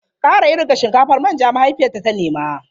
Ƙara iru ga shinkafar manja! mahaifiyarta ta nema.